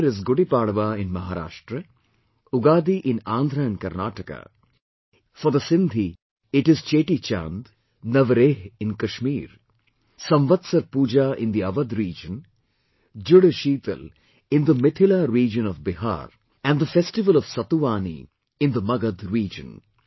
New year is Gudi Padva in Maharashtra, Ugadi in Andhra and Karnataka, for the Sindhi it is Cheti Chand, Navreh in Kashmir, Samvatsar Pooja in the Awadh Region, JudSheetal in the Mithila region of Bihar and the festival of Satuvani in the Magadh region